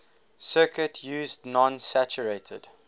circuit used non saturated